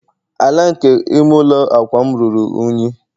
ala nke ime ụlọ a akwa'm ruru unyi